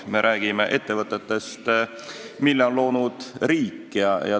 Meie räägime ettevõtetest, mille on loonud riik.